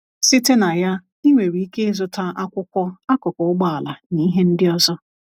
Site na ya, ị nwere ike ịzụta akwụkwọ, akụkụ ụgbọala, na ihe ndị ọzọ.